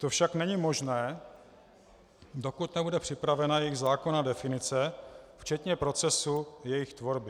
To však není možné, dokud nebude připravena jejich zákonná definice včetně procesu jejich tvorby.